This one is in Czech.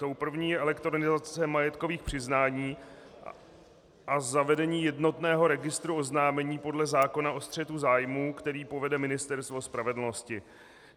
Tou první je elektronizace majetkových přiznání a zavedení jednotného registru oznámení podle zákona o střetu zájmů, který povede Ministerstvo spravedlnosti.